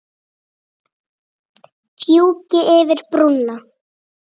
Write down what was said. Fjúki yfir brúna.